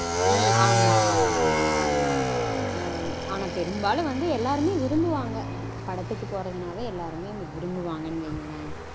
உம் ஆமா ஆமா ஆமா. ஆனா பெரும்பாலும் வந்து எல்லாரும் விரும்புவாங்க. படத்துக்கு போறதுனாவே எல்லாரும் விரும்புவாங்கனு வையுங்களேன்